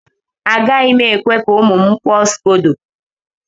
Agaghị m ekwe ka ụmụ m barb scodo.